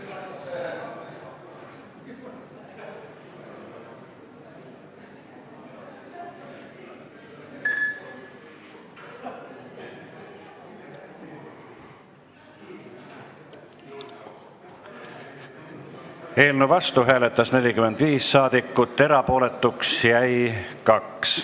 Hääletustulemused Eelnõu vastu hääletas 45 saadikut, erapooletuks jäi 2.